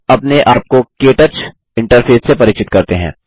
अब अपने आप को के टच इंटरफेस से परिचित करते हैं